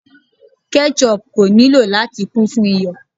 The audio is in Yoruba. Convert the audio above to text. Ketchup ko nilo lati kun fun iyọ̀